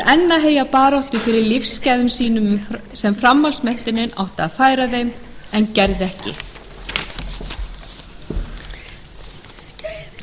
enn baráttu fyrir lífsgæðum sínum sem framhaldsmenntunin átti að færa honum en gerði ekki